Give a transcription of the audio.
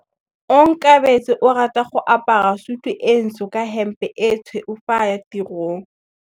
Onkabetse o rata go apara sutu e ntsho ka hempe e tshweu fa a ya tirong.